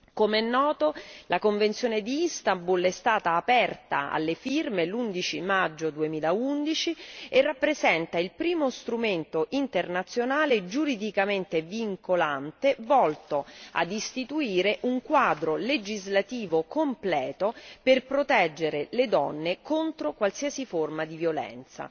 Come è noto la convenzione di Istanbul è stata aperta alle firme l'11 maggio 2011 e rappresenta il primo strumento internazionale giuridicamente vincolante volto ad istituire un quadro legislativo completo per proteggere le donne contro qualsiasi forma di violenza.